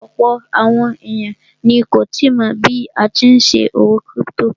Ọ̀pọ̀ àwọn èèyàn ni kò tíì mọ̀ bí a tí n ṣòwò kírípítò